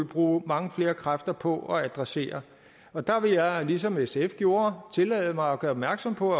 bruge mange flere kræfter på at adressere og der vil jeg lige som sf gjorde tillade mig at gøre opmærksom på